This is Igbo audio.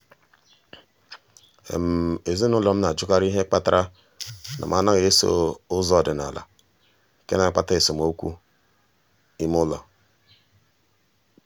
ezinụlọ m na-ajụkarị ihe kpatara na m anaghị eso ụzọ ọdịnala nke na-akpata esemokwu ime ụlọ.